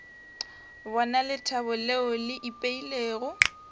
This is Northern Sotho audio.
bona lethabo leo le ipeilego